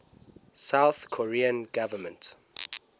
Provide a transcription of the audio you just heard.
south korean government